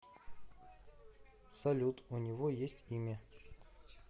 салют у него есть имя